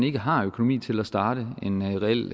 ikke har økonomi til at starte en reel